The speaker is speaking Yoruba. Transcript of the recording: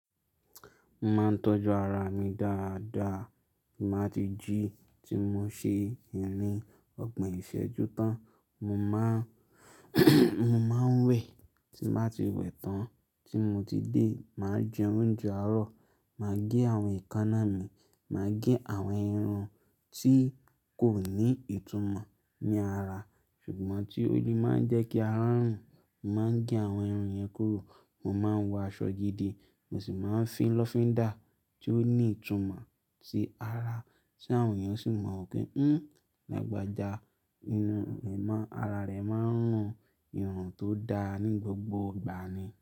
Mo máa ń tọ́jú ara mi dáadáa, tí màá ti jí, tí mo ṣe iyin ní ọgbon ìṣẹ́jú tán, mo máa wẹ̀, tí màá ti wẹ̀ tán, tí mo ti dé, màá jẹ oúnjẹ àárọ̀, màá gé àwọn èékánná mi, màá gé àwọn irun tí kò ní ìtumọ̀ ní ara ṣùgbọ́n tí ó yẹ máa ń jẹ́ kí ara rùn, màá gé àwọn irun yẹn kúrò, màá ń wọ aṣọ gidi, mo sì máa ń fi lọ́findà tí ó ní ìtumọ̀ sí ara tí àwọn yẹn sì máa ń rò pé "Ú, làgbajà, inú rẹ̀ má, ara rẹ̀ máa ń rùn ìrùn tó dáa ní gbogbo ìgbà ni".